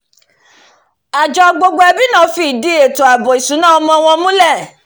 àjọ gbogbo ẹbí náà fi ìdí àbò èto ìsúná ọmọ wọn múlẹ̀